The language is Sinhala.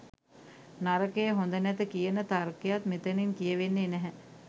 නරකය, හොඳ නැත කියන තර්කයක් මෙතතින් කියවෙන්නේ නැහැ.